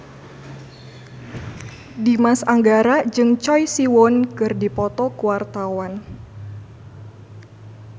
Dimas Anggara jeung Choi Siwon keur dipoto ku wartawan